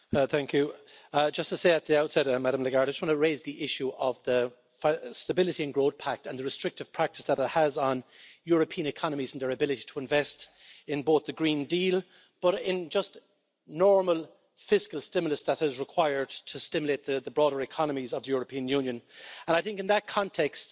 Mr President, just to say at the outset, Madame Lagarde, I want to raise the issue of the Stability and Growth Pact and the restrictive practice that it has on European economies and their ability to invest in both the Green Deal, but in just normal fiscal stimulus that is required to stimulate the broader economies of the European Union. And I think in that context,